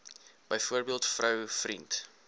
byvoorbeeld vrou vriend